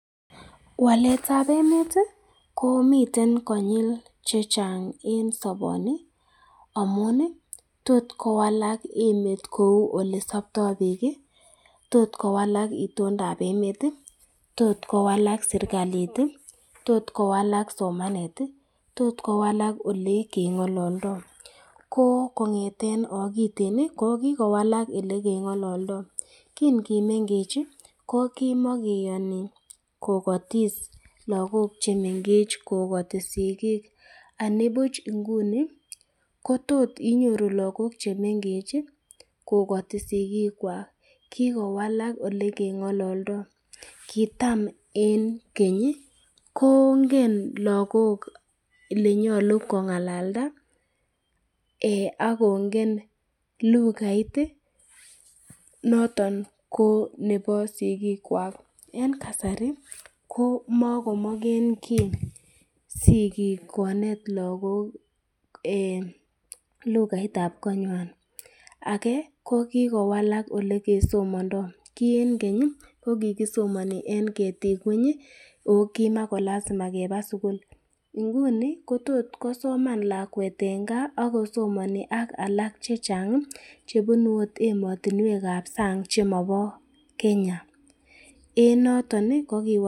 waletab emeti komiten konyil chechang en soponi amuni tot kowalak emet kou olesopto biiki tot kowalak iondoap emeti tot kowalak serklit ii tot kowalak somaneti tot kowalak ole keng'ololdo koo kong'eten okiteni kokikowalak ele kenog'ololdo kin kimeng'echi kokimokiyoni kokotis lagok chemeng'echi kokoti sigik anibuch nguni kotot inyoru lagok chemeng'echi kokoti sikikwak kikowalak ole keng'ololdo kitam en kenyi kongen lagok ole nyolu kongalalda akongen lugaiti noton ko konepo sikikwak en kasari komokomogengi sigik konet lagok en lugaitab konwan ake kokikowalak ole kesomondo kii en kenyi kokikisomoni en ketik ngwenyi oo kimakolasima kepa sugul nguni kotot kosoman lawet en kaa akosomoni alak chechang chebunu ot emotinwek ab sang chemobo kenya en notoni kokiwalak